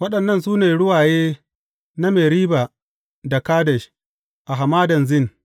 Waɗannan su ne ruwaye na Meriba da Kadesh, a Hamadan Zin.